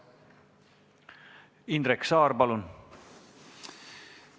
Indrek Saar, palun!